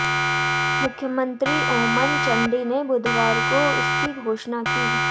मुख्यमंत्री ओमन चांडी ने बुधवार को इसकी घोषणा की